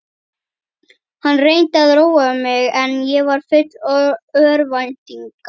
Hann reyndi að róa mig en ég var full örvæntingar.